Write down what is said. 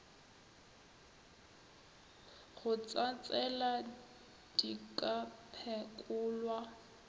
go tsatsela di ka phekolwa